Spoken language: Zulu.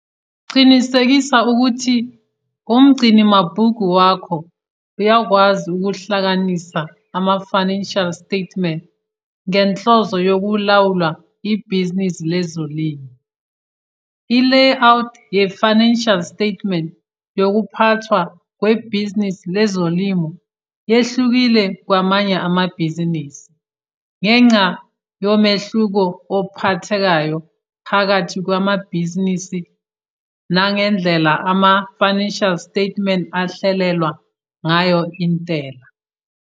Qinisekisa ukuthi umgcinimabhuku wakho uyakwazi ukuhlanganisa ama-financial statements ngenhloso yokulawula ibhizinisi lezolimo. I layout yefinancial statements yokuphathwa kwebhizinisi lezolimo yehlukile kwamanye amabhizinisi ngenxa yomehluko ophathekayo phakathi kwamabhizinisi nangendlela ama-financial statement ahlelelwa ngayo intela.